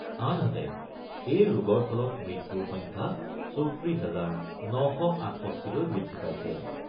আনহাতে এই ৰোগৰ ফলত মৃত্যুৰ সংখ্যা ৩৪ হাজাৰ ৯৬৮লৈ বৃদ্ধি পাইছে।